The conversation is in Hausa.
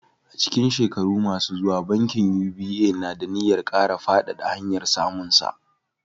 A cikin shekaru masu zuwa, bankin UBA na da niyyar kara faɗaɗa hanyar samunsa.